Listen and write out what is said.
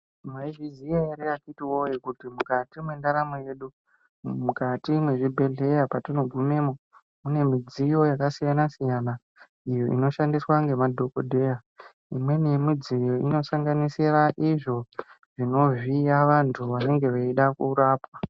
Mwaizviziya ere akhiti woyee, kuti mukati mwendaramo yedu, mukati mwezvibhedhleya patinogumemwo, mune midziyo yakasiyana-siyana, iyo inoshandiswa ngema dhokodheya, imweni yemidziyo, inosanganisira izvo, zvinovhiya vanthu vanenge veida kurapwa.